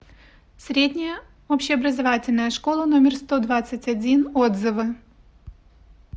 средняя общеобразовательная школа номер сто двадцать один отзывы